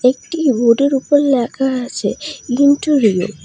একটি বোর্ড -এর ওপর লেখা আছে ইনটোরিও ।